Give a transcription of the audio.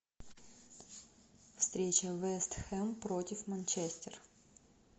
встреча вест хэм против манчестер